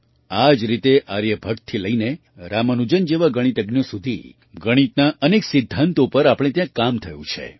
આ જ રીતે આર્યભટ્ટથી લઈને રામાનુજન જેવા ગણિતજ્ઞો સુધી ગણિતના અનેક સિદ્ધાંતો પર આપણે ત્યાં કામ થયું છે